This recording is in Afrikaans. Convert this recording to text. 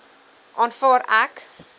aanvaar ek